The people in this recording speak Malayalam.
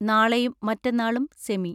നാളെയും മറ്റെന്നാളും സെമി